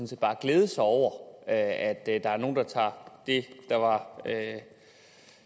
set bare glæde sig over at der er nogle der tager det der var